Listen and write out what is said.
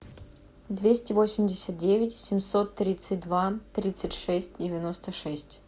двести восемьдесят девять семьсот тридцать два тридцать шесть девяносто шесть